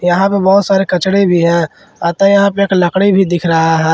यहां पे बहुत सारे कचड़े भी हैं अतह यहां पे एक लकड़ी भी दिख रहा है।